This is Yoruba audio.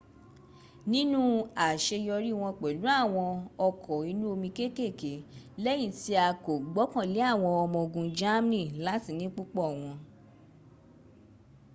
nítorí àṣeyọrí wọ́n pẹ̀lú àwọn ọkọ̀ inú omi kékèké lẹ́yìn tí a kò gbọ́kànlé àwọn ọmọ ogun germany láti ní púpọ̀ wọn